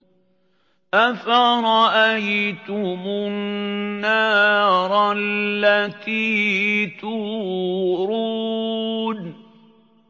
أَفَرَأَيْتُمُ النَّارَ الَّتِي تُورُونَ